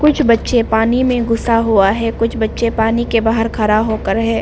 कुछ बच्चे पानी में घुसा हुआ है कुछ बच्चे पानी के बाहर खड़ा होकर है।